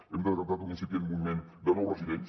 hem detectat un incipient moviment de nous residents